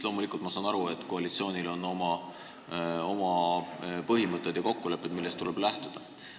Loomulikult, ma saan aru, et koalitsioonil on oma põhimõtted ja kokkulepped, millest tuleb lähtuda.